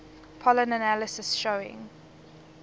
pollen analysis showing